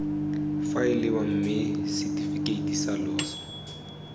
faeliwa mme setefikeiti sa loso